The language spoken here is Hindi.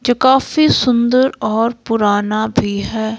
जो काफी सुंदर और पुराना भी है।